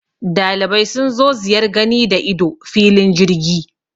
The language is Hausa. Dalibai sun zo ziyar gani da ido filin jirgi